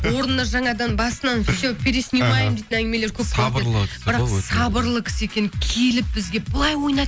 орнына жаңадан басынан все переснимаем дейтін әңгімелер сабырлы кісі бірақ сабырлы кісі екен келіп бізге былай ойна